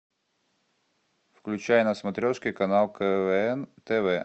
включай на смотрешке канал квн тв